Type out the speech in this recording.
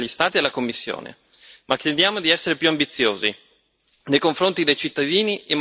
Ma chiediamo di essere più ambiziosi nei confronti dei cittadini in materia di risarcimenti.